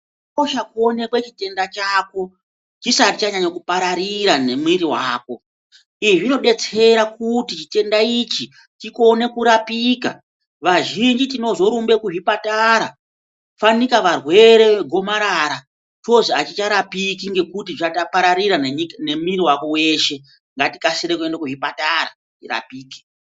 Zvakakosha kuonekwe chitenda chako chisati chanyanya kupararira nemwiri wako. Izvi zvinodetsera kuti chitenda ichi chikone kurapika. Vazhinji tinozorumbe kuzvipatara fanika varwere vegomarara ozi achicharapiki ngekuti chapararira nemwiri wako weshe. Ngatikasire kuenda kuzvipatara tirapike.